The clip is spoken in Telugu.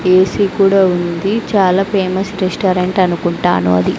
ఏ సీ కూడా ఉంది చాలా ఫేమస్ రెస్టారెంట్ అనుకుంటాను అది.